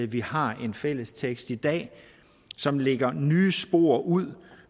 vi har en fælles tekst i dag som lægger nye spor ud